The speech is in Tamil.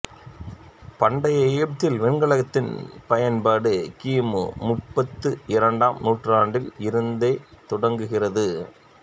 பண்டைய எகிப்தில் வெண்கலத்தின் பயன்பாடு கி மு முப்பத்து இரண்டாம் நூற்றாண்டில் இருந்தே தொடங்குகிறது